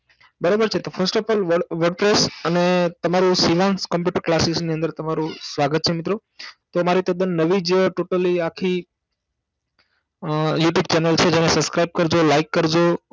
બરોબર છે તો First of all virtual અને તમારુ શ્રીનાંશ કમ્પ્યુટર ક્લાસસીની અંદર તમારૂ સ્વાગત છે મિત્રો તો મારી તદન નવી જ Totally આખી અ YouTube channel છે જેન subscuribe કરજો like કરજો